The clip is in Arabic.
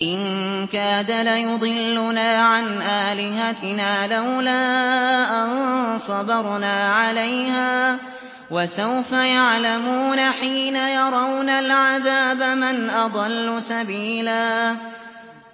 إِن كَادَ لَيُضِلُّنَا عَنْ آلِهَتِنَا لَوْلَا أَن صَبَرْنَا عَلَيْهَا ۚ وَسَوْفَ يَعْلَمُونَ حِينَ يَرَوْنَ الْعَذَابَ مَنْ أَضَلُّ سَبِيلًا